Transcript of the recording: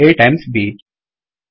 A times B